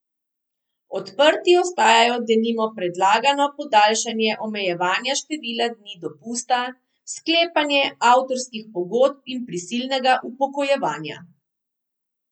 Odprti ostajajo denimo predlagano podaljšanje omejevanja števila dni dopusta, sklepanje avtorskih pogodb in prisilnega upokojevanja.